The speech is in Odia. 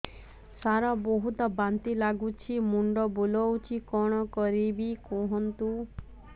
ସାର ବହୁତ ବାନ୍ତି ଲାଗୁଛି ମୁଣ୍ଡ ବୁଲୋଉଛି କଣ କରିବି କୁହନ୍ତୁ